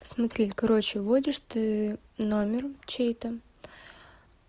смотри короче вводишь ты номер чей-то